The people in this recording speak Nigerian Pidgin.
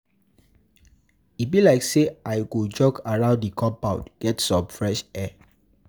E be like sey I go jog around di compound, get some fresh air.